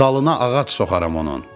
Dalına ağac soxaram onun.